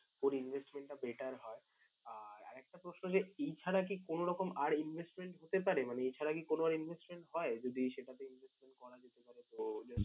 কোন investment টা better হয়। আর আর একটা প্রশ্ন যে, এই ছাড়া কি কোন রকম আর investment হতে পারে মানে এই ছাড়া কি কোন investment হয়? যদি সেটাতে investment করা যেতে পারে তো